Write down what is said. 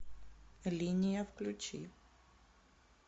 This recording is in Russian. линия включи